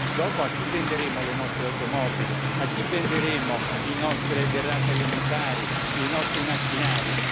Dopo a chi venderemo le nostre automobili, a chi venderemo le nostre derrate alimentari e i nostri macchinari?